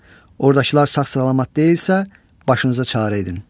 Ordakılar sağ-salamat deyilsə, başınızda çarə edin.